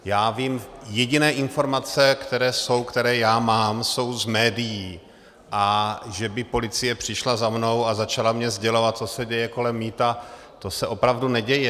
Já vím jediné informace, které jsou, které já mám, jsou z médií, a že by policie přišla za mnou a začala mi sdělovat, co se děje kolem mýta, to se opravdu neděje.